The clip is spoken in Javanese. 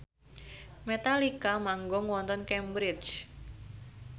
Metallica manggung wonten Cambridge